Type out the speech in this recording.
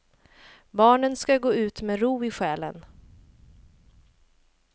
Barnen ska gå ut med ro i själen.